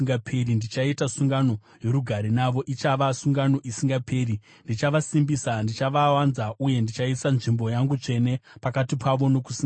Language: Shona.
Ndichaita sungano yorugare navo; ichava sungano isingaperi. Ndichavasimbisa, ndichavawanza uye ndichaisa nzvimbo yangu tsvene pakati pavo nokusingaperi.